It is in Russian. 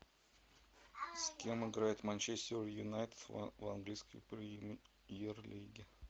с кем играет манчестер юнайтед в английской премьер лиге